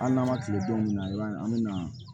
Hali n'an ma kile don min na i b'a ye an bɛ na